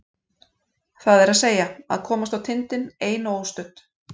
Það er að segja: að komast á tindinn ein og óstudd.